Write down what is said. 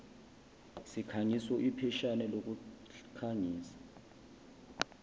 sikhangiso ipheshana lokukhangisa